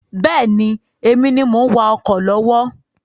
Bẹ́ẹ̀ni, Èmi ni mo ń wá ọkọ̀ lọ́wọ́